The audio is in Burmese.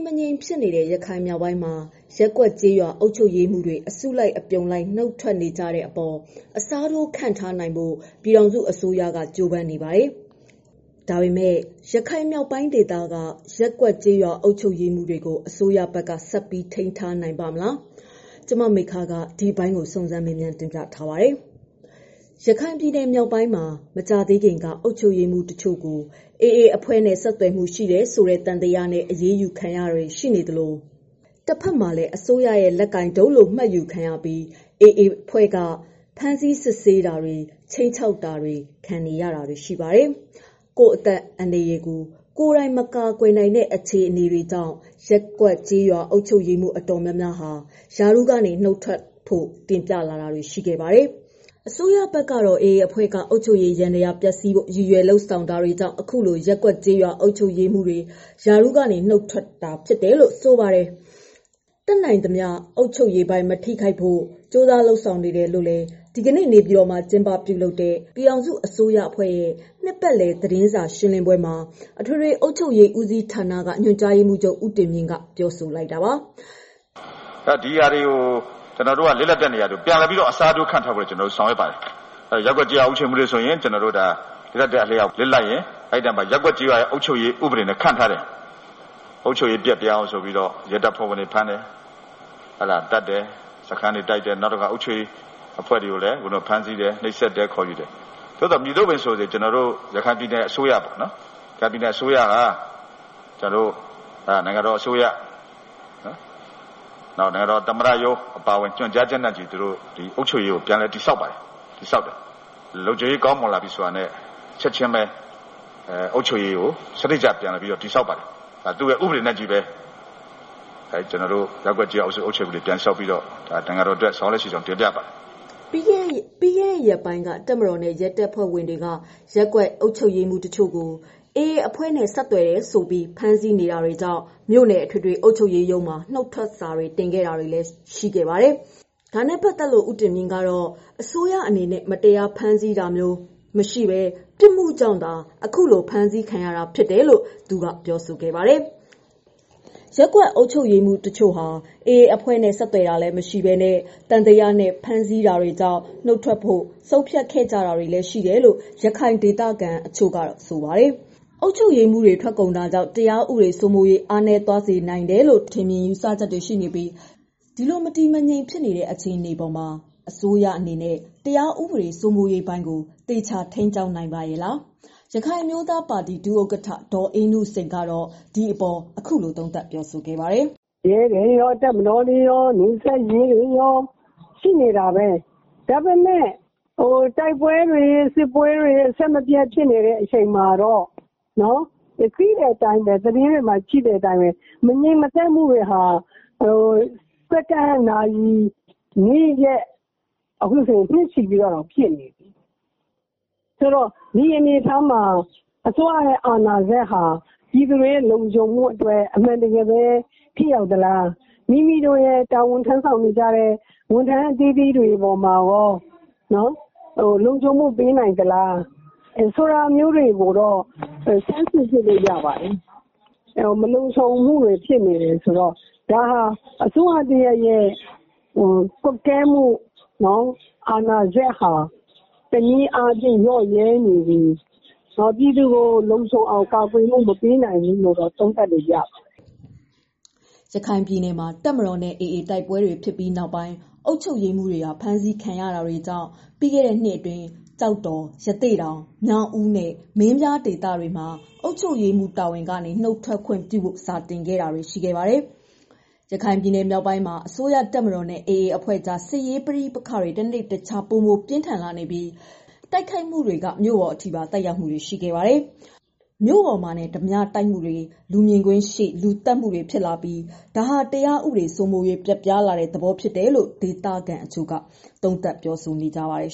မငြိမ်ဖြစ်နေတဲ့ ရခိုင်မြောက်ပိုင်းမှာ ရပ်ကွက်ကျေးရွာ အုပ်ချုပ်ရေးမှူးတွေ အစုအပြုံလိုက် နုတ်ထွက်နေကြတဲ့အပေါ် အစားထိုးခန့်ထားနိုင်ဖို့ ပြည်ထောင်စုအစိုးရက ကြိုးပမ်းနေပါတယ်။ ဒါပေမဲ့ ရခိုင်မြောက်ပိုင်းဒေသက ရပ်ရွာအုပ်ချုပ်ရေးတွေကို အစိုးရဘက်က ဆက်ပြီး ထိန်းထားနိုင်ပါ့မလား... ဗွီအိုအေမြန်မာပိုင်း သတင်းထောက် မမေခက စုံစမ်းမေးမြန်းထားပါတယ်။ ရခိုင်ပြည်နယ်မြောက်ပိုင်း မကြာသေးခင်ကတည်းက အုပ်ချုပ်ရေးမှူးကို တချို့ AA အဖွဲ့နဲ့ ဆက်သွယ်မှု ရှိတယ်ဆိုတဲ့ သံသယနဲ့ အရေးယူခံရတာတွေ ရှိနေသလို တဘက်မှာလည်း အစိုးရရဲ့လက်ကိုင်ဒုတ်လို့ မှတ်ယူခံရပြီး AA အဖွဲ့က ဖမ်းဆီးစစ်ဆေးတာတွေ ခြိမ်းခြောက်တာတွေခံကြရပါတယ်။ ကိုယ့်အသက်အန္တရာယ်ကို ကိုယ်တိုင် မကာကွယ်နိုင်တဲ့ အခြေအနေကြောင့် ရပ်ကွက်ကျေးရွာ အုပ်ချုပ်ရေးမှူးအတော်များများ ရာထူးကနေ နုတ်ထွက်ဖို့ တင်ပြလာတာတွေ ရှိပါတယ်။ အစိုးရဘက်ကတော့ AA အဖွဲ့က အုပ်ချုပ်ရေးယန္တရားကို ပျက်ဆီးဖို့ ရည်ရွယ်ချက်လုပ်ဆောင်တာတွေကြောင့် အခုလို ရပ်ကွက်ကျေးရွာ အုပ်ချုပ်ရေးမှူးတွေ ရာထူးကနေ နုတ်ထွက်တာရှိပေမဲ့ တတ်နိုင်သမျှ အုပ်ချုပ်ရေးပိုင်း မထိခိုက်အောင် ကြိုးစားလုပ်ဆောင်နေတယ်လို့ ဒီကနေ့ နေပြည်တော်မှာလုပ်တဲ့ ပြည်ထောင်စု အစိုးရအဖွဲ့ရဲ့နှစ်ပတ်လည်သတင်းစာရှင်းပွဲမှာ အထွေထွေ အုပ်ချုပ်ရေးဦးစီးဌာနက ညွှန်ကြားရေးမှူးချုပ် ဦးတင်မြင့်က အခုလိုပြောဆိုလိုက်ပါတယ်။ "ဒီနေရာတွေကို ပြန်လည်အစားထိုးပြန်ခံဖို့ လုပ်ပါတယ်။ လစ်လပ်ရင် လစ်လပ်တဲ့ နေရာမှာ ဥပဒေတိုင်း ပြန်ခန့်ထားတယ်။ အုပ်ချုပ်ရေးပျက်ပြားအောင် ရဲတွေ၊ နောက်အုပ်ချုပ်ရေးက လူတွေကို ဖမ်းတာတွေ၊ တိုက်တာတွေ လုပ်တယ်။ ဘယ်လိုလုပ်လုပ် ရခိုင်အစိုးရ၊ နိုင်ငံတော်သမ္မတရုံးအပါအဝင် ကျနော်တို့ဘက်ကနေ အုပ်ချုပ်ရေးပိုင်း ကို ပြန်တည်ဆောက်ပါတယ်။ လုံခြူံရေးကောင်းတာနဲ့ အုပ်ချုပ်ရေးကို စနစ်တကျပြန်တည်ဆောက်ပါတယ်။ လစ်လပ်နေရာမှာ ဥပဒေနဲ့ အညီ ပြန်ခန့်ပြီးလုပ်ငန်းတွေ လုပ်ဆောင်နေတာကို တင်ပြချင်ပါတယ်။" ပြီးခဲ့တဲ့ ရက်ပိုင်းက တပ်မတော်နဲ့ ရဲတပ်ဖွဲ့ဝင်တွေက ရပ်ကွက်အုပ်ချူပ်ရေးမှူးတွေကို AA အဖွဲ့နဲ့ ဆက်သွယ်တယ်ဆိုပြီး ဖမ်းဆီးနေတာတွေကြောင့် မြို့နယ် အထွေအထွေ အုပ်ချုပ်ရေးရုံးမှာ နုတ်ထွက်စာ တင်တာတွေရှိခဲ့ပါတယ်။ ဒါနဲ့ပတ်သတ်လို့ သူကတော့ အစိုးရအနေနဲ့ မတရား ဖမ်းဆီးတာမျိုးမရှိဘဲ ပြစ်မှုကြောင့်သာ ဖမ်းခံရတာဖြစ်တယ်လို့ ဦးတင်မြင့် ဆိုပါတယ်။ ရပ်ကျေးအုပ်ချုပ်ရေးမှူးတွေဟာ AA အဖွဲ့နဲ့ ဆက်သွယ်တာလည်း မရှိဘဲ သံသယနဲ့ ဖမ်းဆီးနေတာကြောင့် နုတ်ထွက်ဖို့ ဆုံးဖြတ်ကြတာဖြစ်တယ်လို့ ရခိုင်ဒေသခံတွေ ကဆိုကြပါတယ်။ အုပ်ချုပ်ရေးမှူးတွေ ထွက်ကုန်တာကြောင့် တရားဥပဒေစိုးမိုးရေး အားနည်းသွားစေနိုင်တယ်လို့ ထင်မြင်ယူဆပြီး၊ စစ်အုပ်ချုပ်ရေးပိုင်းနဲ့ ထိန်းညှိဖို့ တိုက်တွန်းမှုတွေလည်း ရှိနေပါတယ်။ ဒီလိုမတည်မငြိမ်အခြေအနေပေါ်မှာ အစိုးရအနေနဲ့ တရားဥပဒေစိုးမိုးရေးပိုင်းကကို အစိုးရ ဘက်က သေချာ ထိန်းကျောင်းနိုင်ပါရဲ့လား။ ရခိုင်အမျိုးသားပါတီ ဒုဥက္ကဋ္ဌ ဒေါ်အေးနုစိန်က အခုလို သုံးသပ်ပြောဆိုလိုက်ပါတယ်။ "ရဲတွေရော၊ တပ်မတော်ရော၊ နယ်စပ်ရဲတွေရော ရှိနေတာပဲ။ ဒါပေမဲ့ တိုက်ပွဲတွေ၊ စစ်ပွဲတွေ အဆက်မပြတ်ဖြစ်နေတဲ့ အချိန်မှာတော့ သတင်းတွေမှာ သိတဲ့အတိုင်းပဲ မငြိမ်မသက်မှုတွေဟာ စက္ကန့်၊ နာရီ၊ နေ့ရက် အခုဆိုရင် နှစ်ချီနေပြီးတော့ကို ဖြစ်နေပြီ။ ဆိုတော့ ဒီအနေအထားမှာ အစိုးရအာဏာစက်ဟာ ပြည်သူတွေရဲ့ လုံခြုံမှုအတွက် အမှန်တကယ်ပဲ ထိရောက်သလား၊ မိမိတို့ရဲ့ တာဝန်ထမ်းဆောင်နေကြတဲ့ ဝန်ထမ်းအသီးသီးပေါ်မှာရော လုံခြုံမှုပေးနိုင်သလား ဆိုတာမျိုးတွေကိုတော့ လေ့လာစမ်းစစ်လို့တော့ရပြီ။ မလုံမခြုံမှုတွေ ဖြစ်နေတယ်ဆိုတော့ ဒါဟာအစိုးရ တရပ်ရဲ့ ကွပ်ကဲမှု အာဏာစက်ဟာ တနည်းအားဖြင့် လျော့ရဲနေပြီး ပြည်သူကို လုံခြုံအောင်ကာကွယ်မှု မပေးနိုင်ဘူးဆိုတာ သုံးသပ်လို့ရပါတယ်။" ရခိုင်ပြည်နယ်မှာ တပ်မတော်နဲ့ AA တိုက်ပွဲတွေဖြစ်ပြီးနောက်ပိုင်း အုပ်ချုပ်ရေးမှူးတွေဟာ ဖမ်းဆီးခံရတာတွေ ရှိတာကြောင့် ပြီးခဲ့တဲ့နှစ်အတွင်း ကျောက်တော်၊ ရသေ့တောင်၊ မြောက်ဦးနဲ့ မင်းပြားမြို့နယ်တွေမှာ အုပ်ချုပ်ရေးမှူး တာဝန်တွေကနေ နုတ်ထွက်ခွင့်ပြုဖို့ စာတင်တာတွေ ရှိခဲ့ပါတယ်။ ရခိုင်ပြည်နယ်မြောက်ပိုင်းမှာ အစိုးရတပ်မတော်နဲ့ အေအေအဖွဲ့ အကြား စစ်ရေးပဋိပက္ခတွေ တနေ့တခြား ပိုမိုပြင်းထန်လာနေပြီး တိုက်ခိုက်မှုတွေက မြို့ပေါ်တွေအထိပါ သက်ရောက်လာတာပါ။ မြို့ပေါ်မှာတင် ဓားပြတိုက်မှုတွေ၊ လူမြင်ကွင်းရှေ့ လူသတ်မှုတွေဖြစ်လာပြီး ဒါဟာ တရားဥပဒေ စိုးမိုးရေး ပျက်ယွင်းလာတဲ့ သဘောဖြစ်တယ်လို့ ဒေသခံတချို့ ပြောဆိုကြပါတယ်